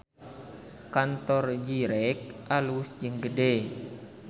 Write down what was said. Kantor Zyrex alus jeung gede